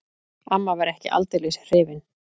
Amma var ekki aldeilis hrifin.